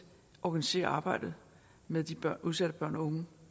organisere arbejdet med de udsatte børn og unge